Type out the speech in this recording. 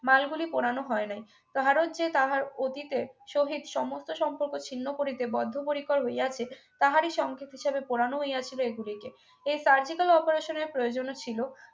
মালগুলি পোড়ানো হয় নাই কাহারো যে তাহার অতীতের সহিত সমস্ত সম্পর্ক ছিন্ন করিতে বদ্ধপরিকর হইয়াছে তাহারি সংকেত হিসাবে পোড়ানো হইয়াছিল এগুলিকে এই surgical operation এর প্রয়োজনও ছিল